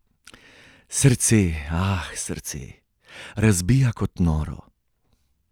Srce, aaaah srce, razbija kot noro.